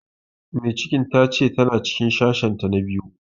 Mai ciki ta ce ta na cikin sashen ta na biyu